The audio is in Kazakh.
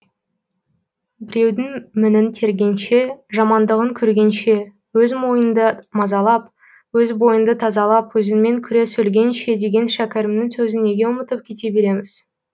біреудің мінін тергенше жамандығын көргенше өз ойыңды мазалап өз бойыңды тазалап өзіңмен күрес өлгенше деген шәкәрімнің сөзін неге ұмытып кете береміз